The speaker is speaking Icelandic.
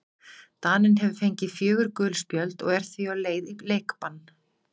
Daninn hefur fengið fjögur gul spjöld og er því á leið í leikbann.